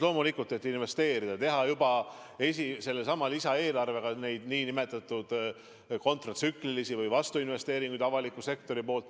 Loomulikult meetmeid, et investeerida, teha juba sellesama lisaeelarvega neid nn kontratsüklilisi või vastuinvesteeringuid avaliku sektori poolt.